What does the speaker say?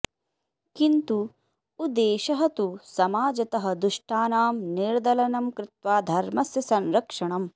किन्तु उद्देशः तु समाजतः दुष्टानां निर्दलनं कृत्वा धर्मस्य संरक्षणम्